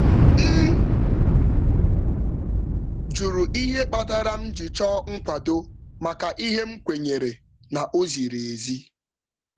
M jụrụ ihe kpatara m ji chọọ nkwado maka ihe m kwenyere na ọ ziri ezi.